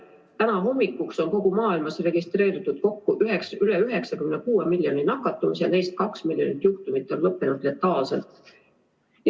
Täna hommikuks on kogu maailmas registreeritud kokku üle 96 miljoni nakatumise, neist 2 miljonit juhtumit on lõppenud letaalselt.